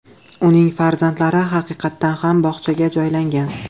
Uning farzandlari haqiqatan ham bog‘chaga joylangan.